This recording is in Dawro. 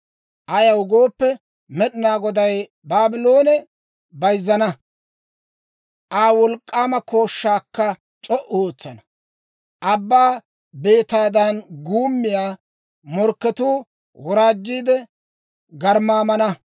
Ayaw gooppe, Med'inaa Goday Baabloone bayzzana; Aa wolk'k'aama kooshshaakka c'o"u ootsana. Abbaa beetaadan guummiyaa morkketuu woraajjiidde garmmaamana.